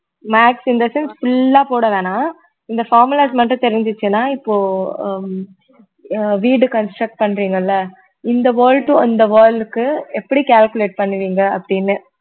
maths in the sense full ஆ போட வேணாம் இந்த formulas மட்டும் தெரிஞ்சுச்சுன்னா இப்போ ஹம் அஹ் வீடு construct பண்றீங்க இல்ல இந்த wall to இந்த wall க்கு எப்படி calculate பண்ணுவீங்க அப்படின்னு